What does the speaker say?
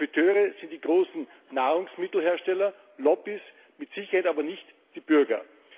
Profiteure sind die großen Nahrungsmittelhersteller, Lobbies, mit Sicherheit aber nicht die Bürger.